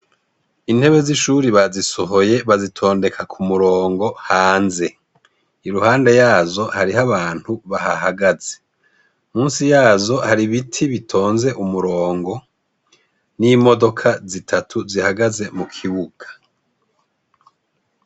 Intebe z'ishuri bazisohoye ,bazitondeka k'umurongo hanze, iruhande yazo harih'abantu bahahagaze, musi yazo har'ibiti bitonze umuronngo, n'imodoka zitatu zihagaze mukibuga.